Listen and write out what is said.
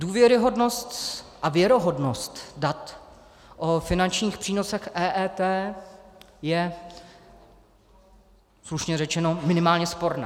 Důvěryhodnost a věrohodnost dat o finančních přínosech EET je slušně řečeně minimálně sporná.